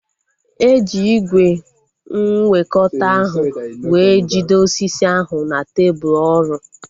Eji ígwè nwekọta ahu wee jide osisi ahu na tebụl ọrụ